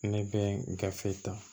Ne bɛ gafe ta